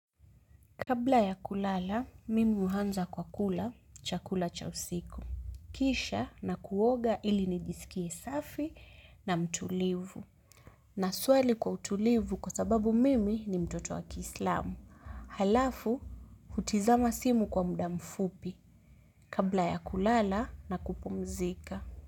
Kabla ya kulala, mimi huanza kwa kula, chakula cha usiku. Kisha na kuoga ili nijisikie safi na mtulivu. Na swali kwa utulivu kwa sababu mimi ni mtoto wa kiislamu. Halafu, hutazama simu kwa muda mfupi. Kabla ya kulala na kupumzika.